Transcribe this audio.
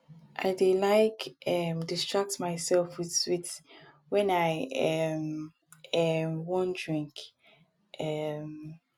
i dey like um distract myself with sweet wen i um um wan drink um